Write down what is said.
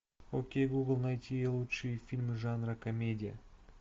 окей гугл найти лучшие фильмы жанра комедия